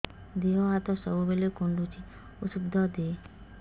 ଦିହ ହାତ ସବୁବେଳେ କୁଣ୍ଡୁଚି ଉଷ୍ଧ ଦେ